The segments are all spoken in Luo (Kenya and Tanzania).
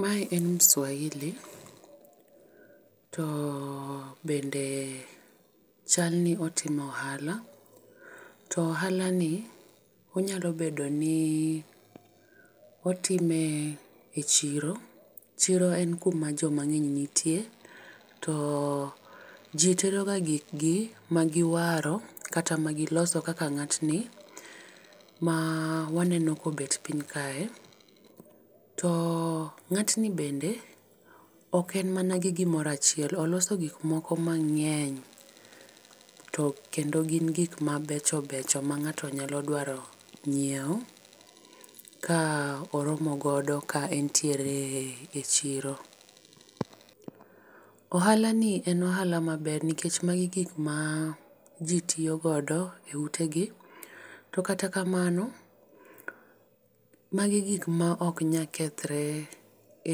Mae en mswahili to bende chal ni otimo ohala. To ohala ni onyalo bedo ni otime e chiro. Chiro en ku jo mang'eny nitie. To ji tero ga gik gi ma gi waro kata ma gi loso kaka ng'at ni ma waneno ka obet piny kae. To ng'at ni bende ok en mana gi gi moro achiel. Oloso gik moko mang'eny to bende ok en mana gin ma beco becho ma go gik ma dwaro ng'iewo ka oromo godo ka en e chiro. Ohala ni en ohala ma ber nikech magi gik ma ji tiyo godo e ute gi to kata kamano magi gik ma ok nya kethre e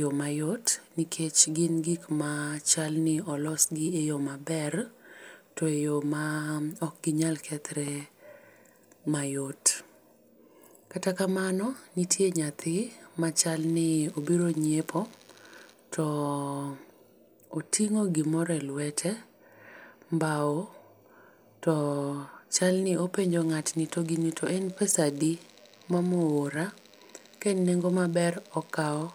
yo ma yot nikech gin gik ma chal ni olos gi e yo ma ber e yo ma ok nyal kethre ma yot. Kata kamano nitie nyathi ma chal ni obiro nyiepio to oting'o gi moro e lwete, mbao to chal ni openjo ngatni gi en pesa adi mama oora ,ka en nengo ma ber okawo.